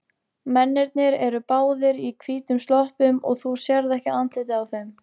Mennirnir eru báðir í hvítum sloppum og þú sérð ekki andlitið á þeim.